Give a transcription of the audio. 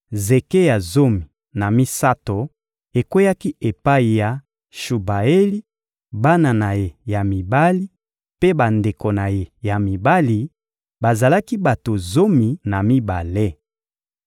Zeke ya zomi na misato ekweyaki epai ya Shubaeli, bana na ye ya mibali mpe bandeko na ye ya mibali: bazalaki bato zomi na mibale.